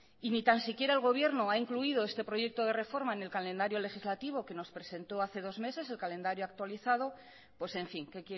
y ni tan siquiera el gobierno ha incluido este proyecto de reforma en el calendario legislativo que nos presentó hace dos meses el calendario actualizado pues en fin que